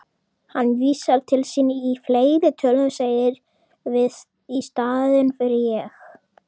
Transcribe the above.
Hann vísar til sín í fleirtölu, segir við í staðinn fyrir ég.